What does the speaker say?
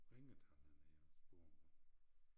Ringede han herned og spurgte